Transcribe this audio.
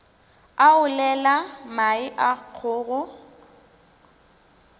a olela mae a kgogo